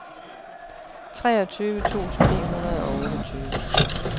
treogtyve tusind ni hundrede og otteogtyve